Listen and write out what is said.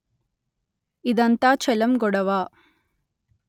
ఇదంతా చెలం గొడవ